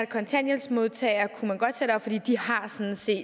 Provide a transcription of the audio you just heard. kontanthjælpsmodtagere sådan set